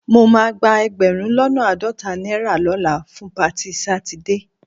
Mo máa gba ẹgbẹ̀rún lọ́nà àádọ́ta náírà lọ́la fún patí Sátidé